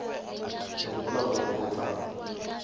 ke gopola gore o tla